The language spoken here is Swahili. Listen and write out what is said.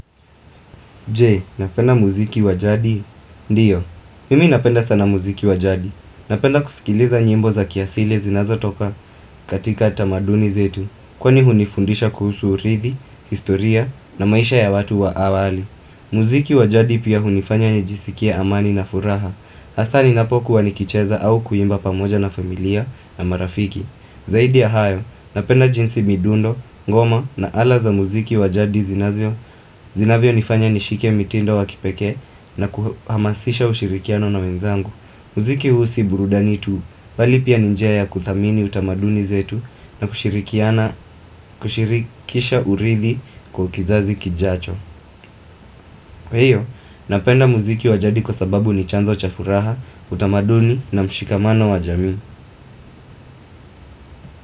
Je, napenda muziki wa jadi, ndiyo Mimi napenda sana muziki wa jadi Napenda kusikiliza nyimbo za kiasili zinazotoka katika tamaduni zetu Kwani hunifundisha kuhusu urithi, historia na maisha ya watu wa awali muziki wa jadi pia hunifanya nijisikie amani na furaha Hasaa ninapokua nikicheza au kuimba pamoja na familia na marafiki Zaidi ya hayo, napenda jinsi midundo, ngoma na ala za muziki wa jadi zinazo Zinavyonifanya nishike mitindo wa kipekee na kuhamasisha ushirikiano na wenzangu muziki huu si burudani tu bali pia ni njia ya kuthamini utamaduni zetu na kushirikisha urithi kwa kizazi kijacho Kwa hiyo, napenda muziki wa jadi kwa sababu ni chanzo cha furaha, utamaduni na mshikamano wa jamii.